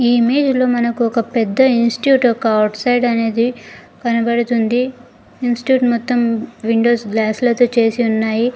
ఈ ఇమేజ్ లో మనకొక పెద్ద ఇన్స్టిట్యూట్ యొక్క అవుట్ సైడ్ అనేది కనబడుతుంది ఇన్స్టిట్యూట్ మొత్తం విండోస్ గ్లాస్ లతో చేసి ఉన్నాయి.